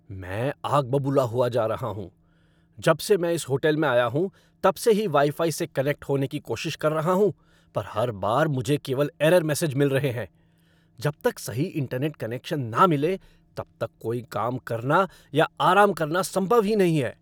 मैं आग बबूला हुआ जा रहा हूँ! जब से मैं इस होटल में आया हूँ तब से ही वाई फ़ाई से कनेक्ट होने की कोशिश कर रहा हूँ, पर हर बार मुझे केवल एरर मैसेज मिल रहे हैं। जब तक सही इंटरनेट कनेक्शन न मिले तब तक कोई काम करना या आराम करना संभव ही नहीं है।